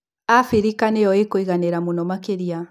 Abirika nĩo ĩkũiganĩra mũno makaria.